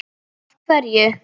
Af hverju.